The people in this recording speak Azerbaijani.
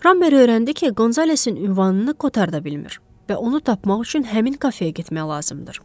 Ramber öyrəndi ki, Qonzalesin ünvanını Qotar da bilmir və onu tapmaq üçün həmin kafeyə getmək lazımdır.